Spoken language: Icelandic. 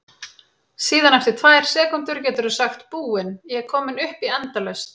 Síðan eftir tvær sekúndur geturðu sagt Búin, ég er komin upp í endalaust!